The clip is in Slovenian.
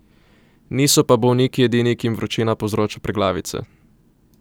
Niso pa bolniki edini, ki jim vročina povzroča preglavice.